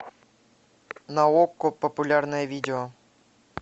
на окко популярное видео